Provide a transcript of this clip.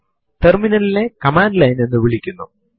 പക്ഷെ root user ക്ക് മാത്രമേ അതു ചെയ്യുവാൻ കഴിയൂ